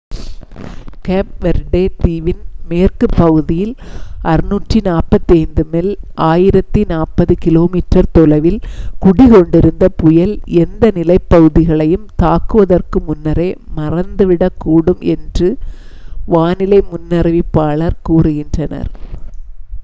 gap Verde தீவின் மேற்குப் பகுதியில் 645 மைல் 1040 கிமீ தொலைவில் குடிகொண்டிருந்த புயல் எந்த நிலப்பகுதிகளையும் தாக்குவதற்கு முன்னரே மறைந்துவிடக்கூடும் என்று வானிலை முன்னறிவிப்பாளர்கள் கூறுகின்றனர்